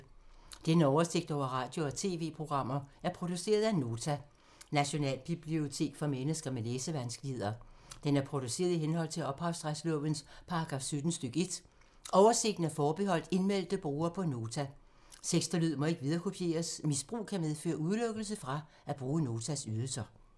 Denne oversigt over radio og TV-programmer er produceret af Nota, Nationalbibliotek for mennesker med læsevanskeligheder. Den er produceret i henhold til ophavsretslovens paragraf 17 stk. 1. Oversigten er forbeholdt indmeldte brugere på Nota. Tekst og lyd må ikke viderekopieres. Misbrug kan medføre udelukkelse fra at bruge Notas ydelser.